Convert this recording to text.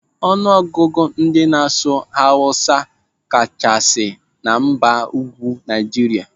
Ọnụ ọgụgụ ndị n'asụ asụsụ awụsa kachasị na mgbago ugwu Naijiria.